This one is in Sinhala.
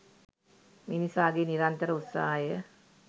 මිනිසාගේ නිරන්තර උත්සාහය